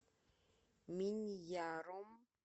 миньяром